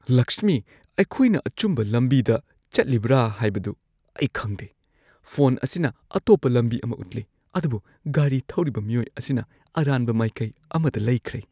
ꯂꯛꯁꯃꯤ, ꯑꯩꯈꯣꯏꯅ ꯑꯆꯨꯝꯕ ꯂꯝꯕꯤꯗ ꯆꯠꯂꯤꯕ꯭ꯔꯥ ꯍꯥꯏꯕꯗꯨ ꯑꯩ ꯈꯪꯗꯦ꯫ ꯐꯣꯟ ꯑꯁꯤꯅ ꯑꯇꯣꯞꯄ ꯂꯝꯕꯤ ꯑꯃ ꯎꯠꯂꯤ ꯑꯗꯨꯕꯨ ꯒꯥꯔꯤ ꯊꯧꯔꯤꯕ ꯃꯤꯑꯣꯏ ꯑꯁꯤꯅ ꯑꯔꯥꯟꯕ ꯃꯥꯏꯀꯩ ꯑꯃꯗ ꯂꯩꯈ꯭ꯔꯦ꯫